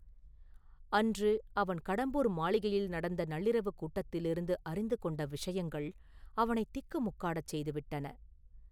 அன்று அவன் கடம்பூர் மாளிகையில் நடந்த நள்ளிரவுக் கூட்டத்திலிருந்து அறிந்து கொண்ட விஷயங்கள் அவனைத் திக்குமுக்காடச் செய்து விட்டன.